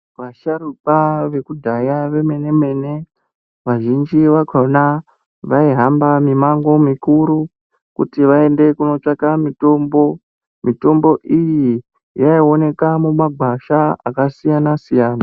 Asharukwa vekudhaya vemene-mene vazhinji vakona vaihamba mimango mikuru kuti vaende kunotsvaka mitombo. Mitombo iyi yaioneka mumagwasha akasiyana-siyana.